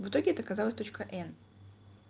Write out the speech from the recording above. в итоге это оказалась точка н